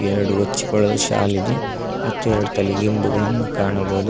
ಎರಡು ಹೊಚ್ಕೊಳ್ಳೋ ಶಾಲಿದೆ ಮತ್ತು ಎರಡು ತಲೆಗಿಂಬುಗಳನ್ನು ಕಾಣಬಹುದು.